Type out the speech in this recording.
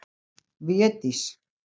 Védís